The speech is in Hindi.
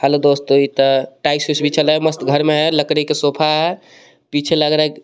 हेलो दोस्तों इत टाइस वाइस बिछाला हे मस्त घर मे हे लकड़ी के सोफा हे पीछे लग रहा हे एक --